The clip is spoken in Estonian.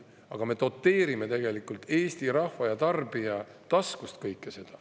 Aga me doteerime kõike seda Eesti rahva ja tarbija taskust.